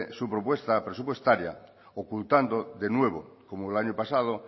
su propuesta presupuestaria ocultando de nuevo como el año pasado